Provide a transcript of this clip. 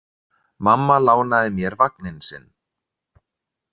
Mamma lánaði mér vagninn sinn.